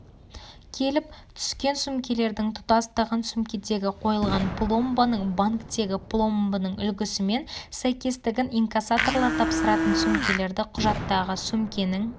келіп түскен сөмкелердің тұтастығын сөмкедегі қойылған пломбаның банктегі пломбының үлгісімен сәйкестігін инкассаторлар тапсыратын сөмкелердің құжаттағы сөмкенің